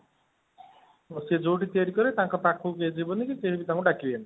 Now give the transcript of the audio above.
ଓଃ ସେ ଯଉଠି ତିଆରି କରିବେ, ତାଙ୍କ ପାଖକୁ କେହି ଯିବେନି କି କେହି ବି ତାଙ୍କୁ ଡାକିବେନି